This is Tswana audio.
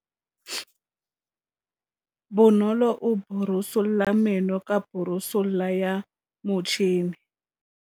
Bonolô o borosola meno ka borosolo ya motšhine.